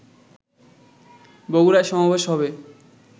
বগুড়ায় সমাবেশ হবে